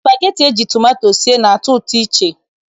Spageti eji tomato sie na-atọ ụtọ iche.